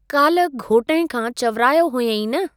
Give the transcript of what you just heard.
काल्ह घोटइं खां चवरायो हुयई न?